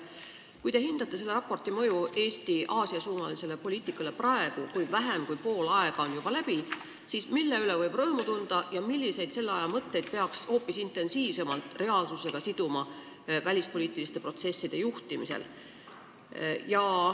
Kuidas te hindate selle raporti mõju Eesti Aasia-suunalisele poliitikale praegu, kui vähem kui pool aega on juba läbi: mille üle võib rõõmu tunda ja milliseid selle aja mõtteid peaks välispoliitiliste protsesside juhtimisel hoopis intensiivsemalt reaalsusega siduma?